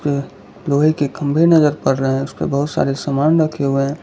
अ लोहे के खंभे नजर आ रहे उसके बहुत सारे सामान रखे हुए है।